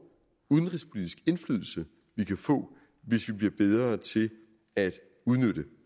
udenrigspolitisk indflydelse hvis vi bliver bedre til at udnytte